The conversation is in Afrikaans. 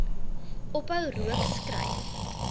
ophou rook skryf